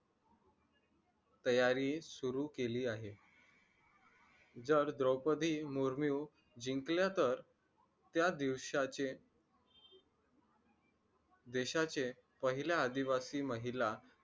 तयारी सुरू केली आहे तर द्रौपदी मुर्मू जिंकल्या तर त्या दिवसाचे देशाचे पहिला आदिवासी महिला